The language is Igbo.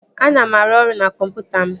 Ana m arụ ọrụ na kọmputa m